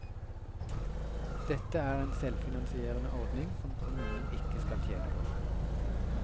Dette er en selvfinansierende ordning som kommunen ikke skal tjene på.